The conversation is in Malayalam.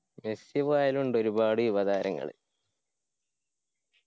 മെസ്സി പോയാലു ഇണ്ട് ഒരുപാട് യുവതാരങ്ങൾ.